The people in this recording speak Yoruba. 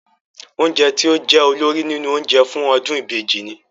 Oúnjẹ tí ó jẹ́ olórí nínú oúnjẹ fún ọdún ìbejì ni?